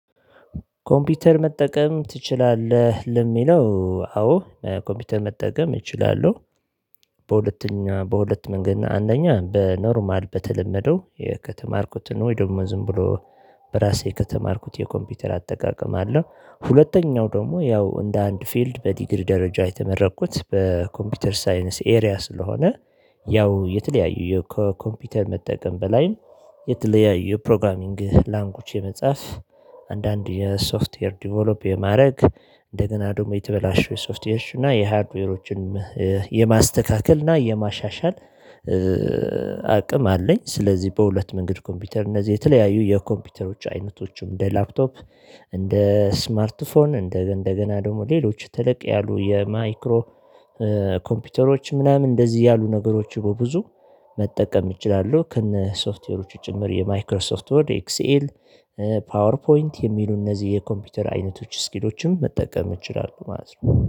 ኮምፒውተር መጠቀም ትችላለህ ለሚለው አዎ ኮምፒውተር መጠቀም እችላለሁ። በሁለተኛ በሁለት መንገድ አንደኛ በኖርማል በተለመደው ከተማርኩት ነው ወይ ደግሞ ዝም ብሎ በራሴ ከተማርኩት የኮምፒውተር አጠቃቀም አለ። ሁለተኛው ደግሞ ያው እንደ አንድ ፊልድ በዲግሪ ደረጃ የተመረቅኩት በኮምፒውተር ሳይንስ ኤሪያ ስለሆነ ያው የተለያዩ የኮምፒውተር መጠቀም በላይ የተለያዩ ፕሮግራሚንግ ላንጉጅ የመጻፍ አንዳንድ የሶፍትዌር ዲቨሎፕ የማድረግ እንደገና ደግሞ የተበላሸው ሶፍትዌሮች እና የሃርድዌሮችን የማስተካከል እና የማሻሻል አቅም አለኝ። ስለዚህ በሁለት መንገድ ኮምፒውተር እነዚህ የተለያዩ የኮምፒውተሮች አይነቶችም እንደ ላፕቶፕ እንደ ስማርት ፎን እንደ እንደገና ደግሞ ሌሎች ተለቅ ያሉ የማይክሮ ኮምፒውተሮች ምናምን እንደዚህ ያሉ ነገሮች በብዙ መጠቀም እችላለሁ። ከነ ሶፍትዌሮቹ ጭምር የማይክሮሶፍት ወርድ ኤክሲኤል ፓወር ፖይንት የሚሉ እነዚህ የኮምፒውተር አይነቶች ስኪሎችም መጠቀም እችላለሁ ማለት ነው